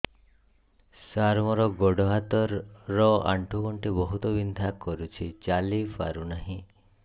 ସାର ମୋର ଗୋଡ ହାତ ର ଆଣ୍ଠୁ ଗଣ୍ଠି ବହୁତ ବିନ୍ଧା କରୁଛି ଚାଲି ପାରୁନାହିଁ